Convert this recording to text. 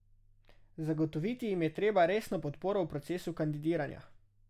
Zagotoviti jim je treba resno podporo v procesu kandidiranja.